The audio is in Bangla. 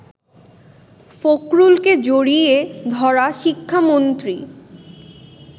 ফখরুলকে জড়িয়ে ধরা শিক্ষামন্ত্রী